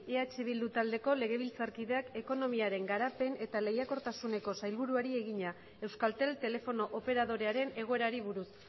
eh bildu taldeko legebiltzarkideak ekonomiaren garapen eta lehiakortasuneko sailburuari egina euskaltel telefono operadorearen egoerari buruz